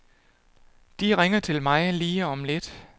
De ringer til mig lige om lidt.